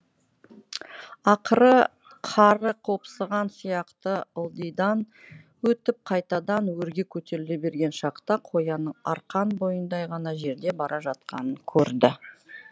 ақыры қары қопсыған қияқты ылдидан өтіп қайтадан өрге көтеріле берген шақта қоянның арқан бойындай ғана жерде бара жатқанын көрді